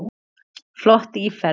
Flott íferð.